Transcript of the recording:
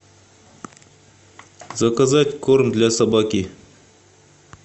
заказать корм для собаки